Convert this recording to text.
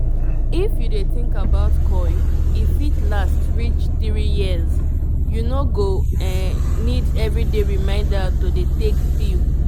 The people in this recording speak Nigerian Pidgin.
if you dey think about coil e fit um last reach 3yrs --u no go um need everyday reminder to dey take pill.